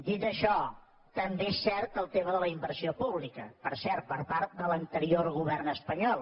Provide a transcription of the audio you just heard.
dit això també és cert el tema de la inversió pública per cert per part de l’anterior govern espanyol